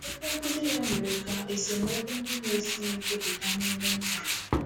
Okwu nkuzi ya mere ka mere ka esemokwu ndị na-esighị ike pụta n’ime ụka.